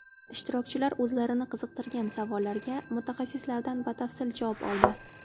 Ishtirokchilar o‘zlarini qiziqtirgan savollarga mutaxassislardan batafsil javob oldi.